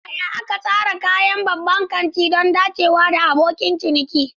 Yaya aka tsara kayan babban kanti don dacewa da abokin ciniki?